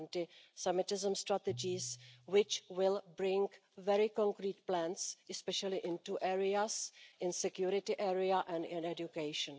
The anti Semitism strategies, which will bring very concrete plans especially into areas, in the security area and in education.